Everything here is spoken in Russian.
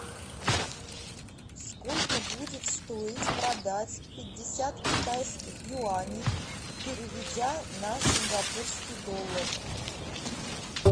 сколько будет стоить продать пятьдесят китайских юаней переведя на сингапурский доллар